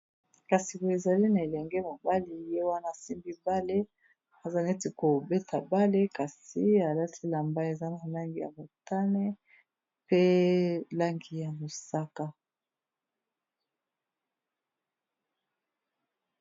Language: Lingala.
Kasi boio ezali na elenge mobali ye wana simbi bale aza neti kobeta bale kasi alasi lamba eza na langi ya motane, pe langi ya mosaka.